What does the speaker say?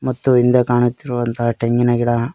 ಮತ್ತು ಹಿಂದೆ ಕಾಣುತ್ತಿರುವಂತಹ ಟೆಂಗಿನ ಗಿಡ.